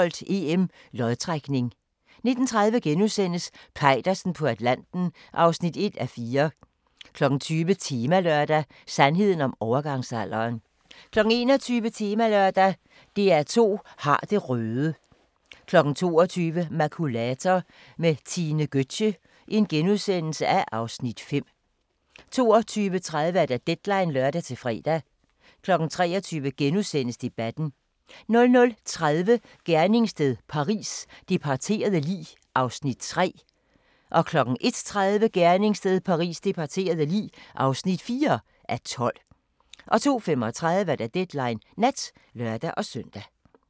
17:45: Fodbold: EM - lodtrækning 19:30: Peitersen på Atlanten (1:4)* 20:00: Temalørdag: Sandheden om overgangsalderen 21:00: Temalørdag: DR2 har det røde 22:00: Makulator med Tine Gøtzsche (Afs. 5)* 22:30: Deadline (lør-fre) 23:00: Debatten * 00:30: Gerningssted Paris: Det parterede lig (3:12) 01:30: Gerningssted Paris: Det parterede lig (4:12) 02:35: Deadline Nat (lør-søn)